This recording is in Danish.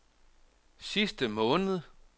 sidste måned